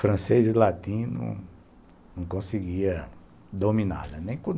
Francês e latim não não conseguia dominar.